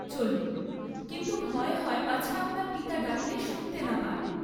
চলুন, কিন্তু ভয় হয় পাছে আপনার পিতা ডাকলে শুনতে না পান।